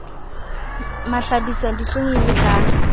mahlabisa dihlong e le ka